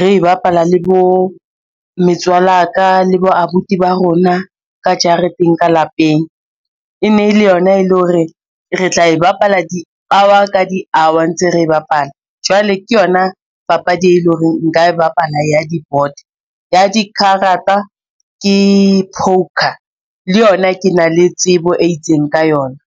re bapala le bo metswala ya ka le bo abuti ba rona ka jareteng ka lapeng. E ne le yona e le hore re tla e bapala di hour le di hour, ntse re e bapala, jwale ke yona papadi, e leng hore nka e bapala ya di board. Ya di karata ke poker, le yona ke na le tsebo e itseng ka yona.